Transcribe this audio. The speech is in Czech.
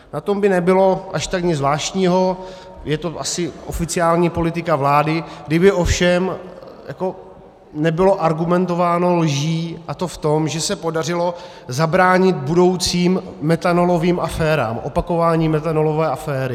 Na tom by nebylo až tak nic zvláštního, je to asi oficiální politika vlády, kdyby ovšem nebylo argumentováno lží, a to v tom, že se podařilo zabránit budoucím metanolovým aférám, opakování metanolové aféry.